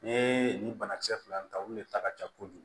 N'i ye nin banakisɛ fila in ta olu de ta ka ca kojugu